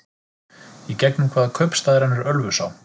Í gegnum hvaða kaupstað rennur Ölfusá?